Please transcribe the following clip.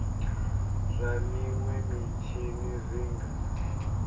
zwa minwe mitshini zwi nga